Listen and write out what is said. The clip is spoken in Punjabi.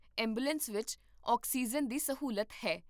ਐਂਬੂਲੈਂਸ ਵਿੱਚ ਆਕਸੀਜਨ ਦੀ ਸਹੂਲਤ ਹੈ